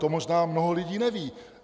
To možná mnoho lidí neví!